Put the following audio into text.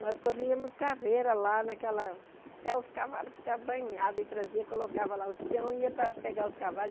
Nós corríamos carreira lá naquela... Até os cavalos ficavam banhados e traziam, colocavam lá os peões e iam para pegar os cavalos.